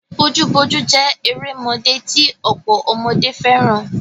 Bojúbojú jé erémodé ti ọ̀pọ̀ ọmọdé fẹ́ràn.